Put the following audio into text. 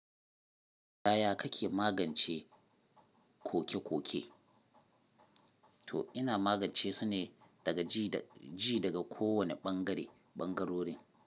Yaya kake magance koke-koke? To ina magance su ne daga ji daga kowane ɓangare ɓangarorin.